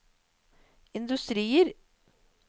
industrier